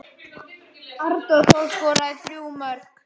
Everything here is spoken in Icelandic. Arnór Þór skoraði þrjú mörk.